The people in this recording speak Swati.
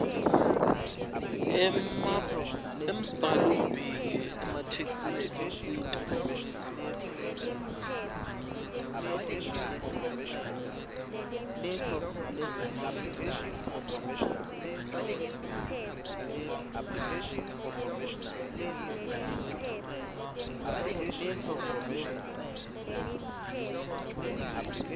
embhalombiko emathektshi etinsita